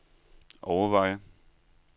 overveje